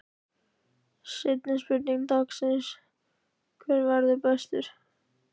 Seinni spurning dagsins: Hver verður bestur?